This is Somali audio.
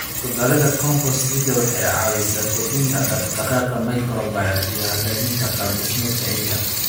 Ku darida compost ciidda waxay caawisaa kordhinta dhaqdhaqaaqa microbial iyo hagaajinta qaab dhismeedka ciidda.